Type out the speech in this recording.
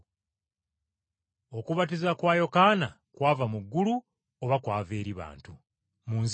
Okubatiza kwa Yokaana kwava mu ggulu oba kwava eri bantu? Munziremu!”